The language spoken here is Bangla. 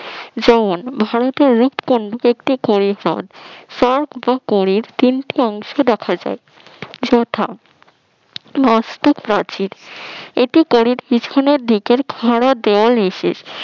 জন ভারতের উৎপন্ন একটি পরিহদ পরক বা পরের তিন টি অংশ দেখা যায় যথা অস্টিক প্রাচীর পরের পেছনের দিকের খাড়া দেওয়াল এ শেষ